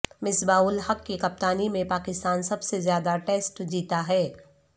مصباح الحق کی کپتانی میں پاکستان سب سے زیادہ ٹسیٹ جیتا ہے